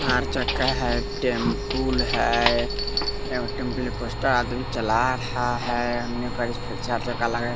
चार चक्का है टेम्पुल है एमें टेंपुल पांच टा आदमी चला रहा है होन्ने करीस फिर चार चक्का लगाय --